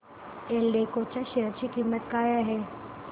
एल्डेको च्या शेअर ची किंमत काय आहे